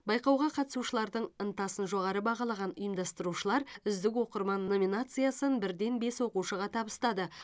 байқауға қатысушылардың ынтасын жоғары бағалаған ұйымдастырушылар үздік оқырман номинациясын бірден бес оқушыға табыстады